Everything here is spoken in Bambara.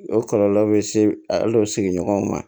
O kɔlɔlɔ bɛ se al'o sigiɲɔgɔnw ma